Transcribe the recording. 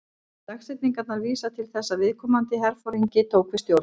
Dagsetningarnar vísa til þess þegar viðkomandi herforingi tók við stjórn.